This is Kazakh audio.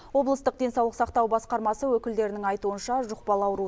облыстық денсаулық сақтау басқармасы өкілдерінің айтуынша жұқпалы ауру